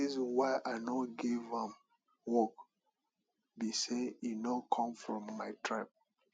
the reason why i no give am work be say e no come from my tribe